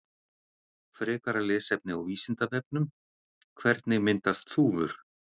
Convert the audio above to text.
Frekara lesefni á Vísindavefnum: Hvernig myndast þúfur?